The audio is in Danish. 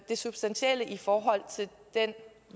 det substantielle i forhold til den